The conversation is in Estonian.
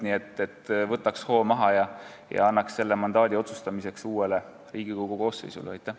Nii et võtaks hoo maha ja annaks mandaadi selle üle otsustamiseks uuele Riigikogu koosseisule!